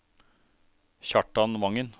Kjartan Vangen